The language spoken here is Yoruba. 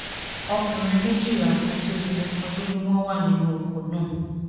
ọkùnrin méjìlá àti obìnrin kan ló ní wọ́n wà nínú ọkọ̀ náà